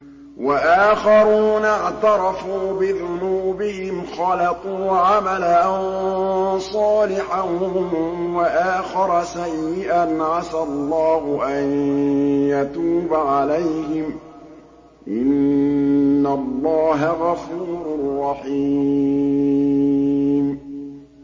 وَآخَرُونَ اعْتَرَفُوا بِذُنُوبِهِمْ خَلَطُوا عَمَلًا صَالِحًا وَآخَرَ سَيِّئًا عَسَى اللَّهُ أَن يَتُوبَ عَلَيْهِمْ ۚ إِنَّ اللَّهَ غَفُورٌ رَّحِيمٌ